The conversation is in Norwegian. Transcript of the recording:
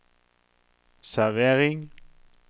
servering